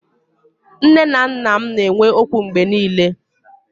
Nné na nnà m na enwe ókwú mgbé niile